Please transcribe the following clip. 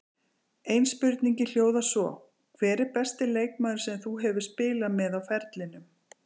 Ein spurningin hljóðar svo: hver er besti leikmaður sem þú hefur spilað með á ferlinum?